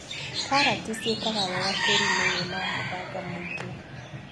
Karati ciĩkaga wega tĩriinĩ wĩna mũthanga mũingĩ.